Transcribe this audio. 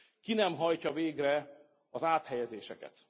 Ki nem hajtja végre az áthelyezéseket?